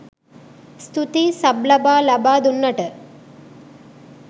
ස්තූතියි සබ් ලබා ලබා දුන්නට